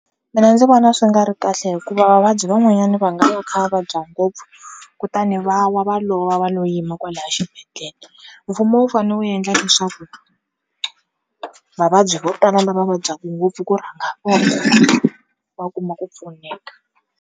Mina ndzi vona swi nga ri kahle hikuva vavabyi van'wanyani va nga va kha va vabya ngopfu kutani va wa va lova va lo yima kwalaya xibedhlele, mfumo wu fanele wu yendla leswaku vavabyi vo tala lava vabyaka ngopfu ku rhanga vona va kuma ku pfuneka.